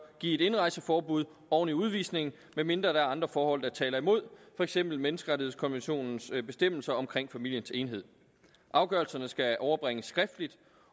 give et indrejseforbud oven i udvisningen medmindre der er andre forhold der taler imod for eksempel menneskerettighedskonventionens bestemmelser omkring familiens enhed afgørelserne skal overbringes skriftligt